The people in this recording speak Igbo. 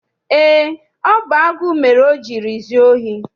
Eé, ọ bụ agụụ mere o jiri zuo ohi.